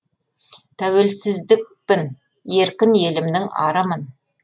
тәуелсіздікпін еркін елімнің арымын